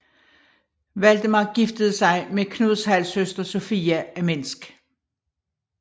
Valdemar giftede sig med Knuds halvsøster Sofia af Minsk